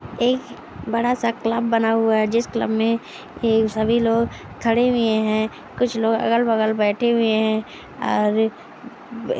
एक बड़ासा क्लब बना हुआ है। जिस क्लब मे सभी लोग खड़े हुए है कुछ लोग अगल बगल बैठे हुए है। और उम--